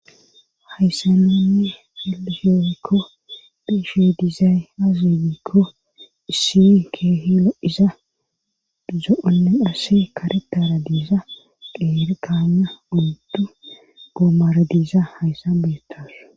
Hayssaninne heliheykko beeshe diizaay azinikko issi keehilo iza zoonne ase karetara diiza qeerkaana undu goomara diiza hayssa beettas.